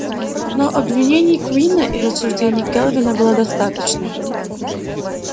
но обвинений куинна и рассуждений кэлвин было достаточно